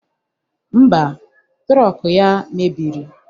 Ḿbà, trọk ya mebiri.